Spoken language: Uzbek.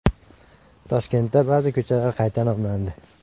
Toshkentda ba’zi ko‘chalar qayta nomlandi.